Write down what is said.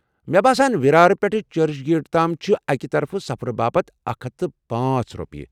مےٚ باسان وِرار پٮ۪ٹھہٕ چرچ گیٹ تام چھِ أکہِ طرفہٕ سفرٕ باپت اکھ ہتھ تہٕ پانژھ رۄپیہِ